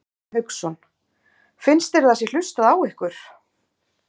Hafsteinn Hauksson: Finnst þér að það sé hlustað á ykkur?